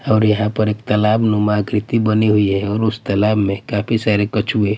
और यहाँ पे एक तालाबनुमा खिड़की बनी हुई हैं और उस तालाब में काफी सारे कछुए--